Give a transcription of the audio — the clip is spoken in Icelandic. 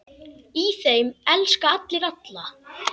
Í þeim elska allir alla.